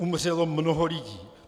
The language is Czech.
Umřelo mnoho lidí.